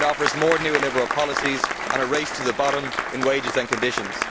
It offers more neoliberal policies and a race to the bottom in wages and conditions.